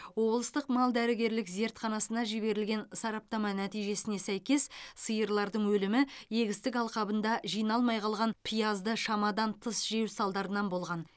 облыстық мал дәрігерлік зертханасына жіберілген сараптама нәтижесіне сәйкес сиырлардың өлімі егістік алқабында жиналмай қалған пиязды шамадан тыс жеу салдарынан болған